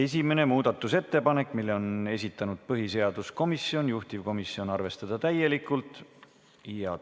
Esimene muudatusettepanek, mille on esitanud põhiseaduskomisjon, juhtivkomisjoni seisukoht on arvestada täielikult.